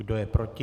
Kdo je proti?